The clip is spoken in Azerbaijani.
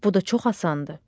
Bu da çox asandır.